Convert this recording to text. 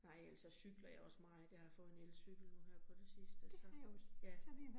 Nej og ellers så cykler jeg også meget, jeg har fået en elcykel nu her på det sidste så, ja